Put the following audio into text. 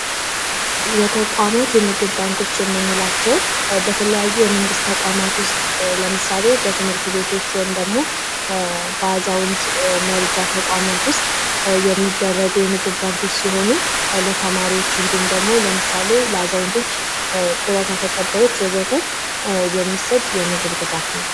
የተቋማት የምግብ ባንኮች የምንላቸው በተለያዩ የመንግስት ተቋማቶች ውስጥ ለምሳሌ በትምህርት ቤት ወይም ደግሞ በአዛውንት መርጃ ተቋማቶች ውስጥ የሚደረጉ ተግባራቶች ሲሆኑ ለተማሪዎች እንዲሁም ደግሞ ለአዛውንቶች እንዲሁም ደግሞ ለጡረታ ተቀባዮች ወዘተ የሚሰጥ የምግብ ድጋፍ ነው።